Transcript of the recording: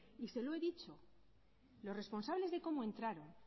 y se lo he dicho los responsables de cómo entraron